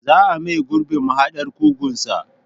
Za a maye gurbin mahaɗar kugunsa.